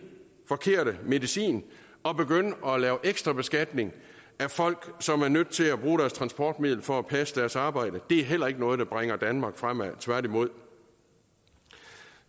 forkerte medicin at begynde at lave ekstra beskatning af folk som er nødt til at bruge deres transportmiddel for at passe deres arbejde det er heller ikke noget der bringer danmark fremad tværtimod